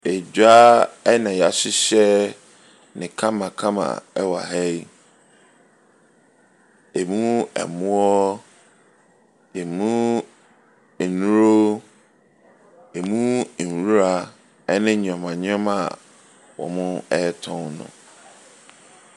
Edwa na wɔahyehyɛ no kamakama wɔ ha yi. Ɛmu ɛmo, ɛmu nnuro, ɛmu nwira ne nneɛma nneɛma a wɔretɔn.